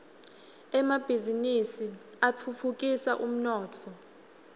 emabhiznnisi atfutfukisa umnotfo